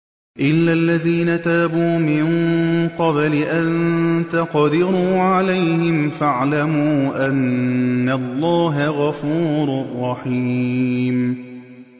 إِلَّا الَّذِينَ تَابُوا مِن قَبْلِ أَن تَقْدِرُوا عَلَيْهِمْ ۖ فَاعْلَمُوا أَنَّ اللَّهَ غَفُورٌ رَّحِيمٌ